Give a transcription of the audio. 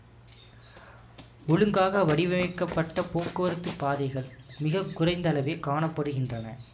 ஒழுங்காக வடிவமைக்கப்பட்ட போக்குவரத்துப் பாதைகள் மிக குறைந்தளவே காண படுகின்றன